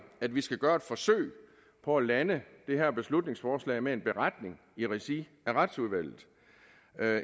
at vi skal gøre et forsøg på at lande det her beslutningsforslag med en beretning i regi af retsudvalget